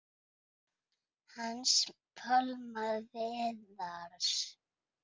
Hans Pálma Viðars.